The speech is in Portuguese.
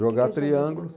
Jogar triângulo.